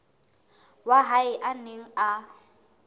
wa hae a neng a